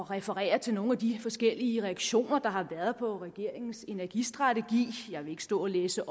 referere til nogle af de forskellige reaktioner der har været på regeringens energistrategi jeg vil ikke stå og læse